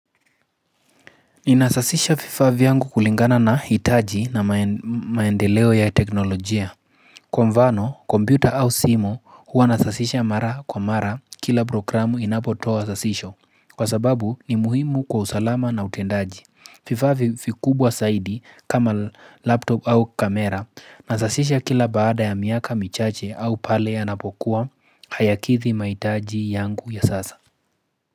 Inasasisha fifaa vyangu kulingana na hitaji na maendeleo ya teknolojia Kwa mvano, kompyuta au simu huwa nasasisha mara kwa mara kila programu inapotoa sasisho. Kwa sababu ni muhimu kwa usalama na utendaji. Fifaa vifikubwa saidi kama laptop au kamera nasasisha kila baada ya miaka michache au pale yanapokuwa hayakithi mahitaji yangu ya sasa.